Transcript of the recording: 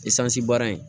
baara in